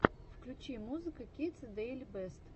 включи музыка кидс дэйли бэст